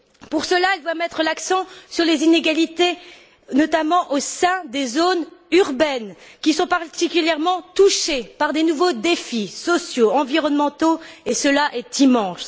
Pour cela, elle doit mette l'accent sur les inégalités, notamment au sein des zones urbaines, qui sont particulièrement touchées par de nouveaux défis sociaux, environnementaux et cela est immense.